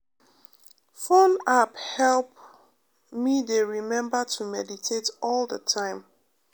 phone app help me dey remember to meditate all the time.